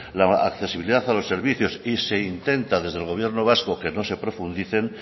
la accesibilidad a los servicios y se intenta desde el gobierno vasco que no se profundicen